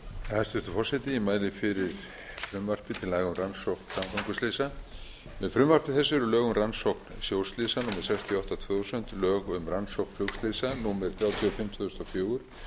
sjóslysa númer sextíu og átta tvö þúsund lög um rannsókn flugslysa númer þrjátíu og fimm tvö þúsund og fjögur og lög um rannsóknarnefnd umferðarslysa númer tuttugu